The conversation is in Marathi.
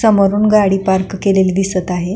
समोरुन गाडी पार्क केलेली दिसत आहे.